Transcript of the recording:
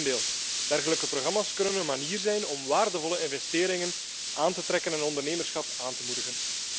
Integendeel, dergelijke programma's kunnen een manier zijn om waardevolle investeringen aan te trekken en ondernemerschap aan te moedigen.